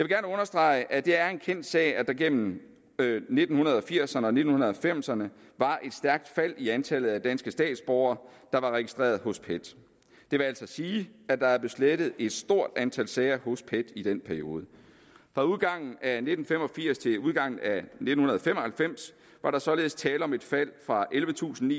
gerne understrege at det er en kendt sag at der igennem nitten firserne og nitten halvfemserne var et stærkt fald i antallet af danske statsborgere der var registreret hos pet det vil altså sige at der er slettet et stort antal sager hos pet i den periode fra udgangen af nitten fem og firs til udgangen af nitten fem og halvfems var der således tale om et fald fra ellevetusinde